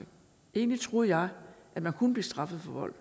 egentlig tror jeg at man kunne blive straffet for vold